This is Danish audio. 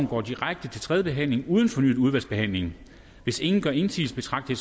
går direkte til tredje behandling uden fornyet udvalgsbehandling hvis ingen gør indsigelse betragter